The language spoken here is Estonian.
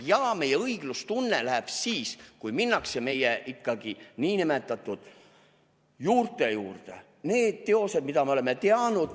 Ja meie õiglustunnet riivab see, kui minnakse ikkagi meie nn juurte juurde, nende teoste juurde, mida me oleme teadnud.